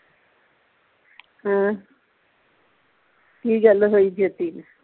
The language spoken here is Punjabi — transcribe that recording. ਹੈ ਕੀ ਗੱਲ ਹੋਈ ਜੋਤੀ ਦੀ